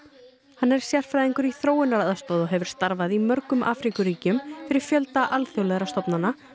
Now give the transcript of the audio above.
hann er sérfræðingur í þróunaraðstoð og hefur starfað í mörgum Afríkuríkjum fyrir fjölda alþjóðlegra stofnana